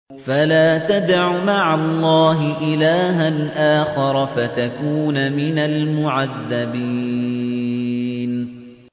فَلَا تَدْعُ مَعَ اللَّهِ إِلَٰهًا آخَرَ فَتَكُونَ مِنَ الْمُعَذَّبِينَ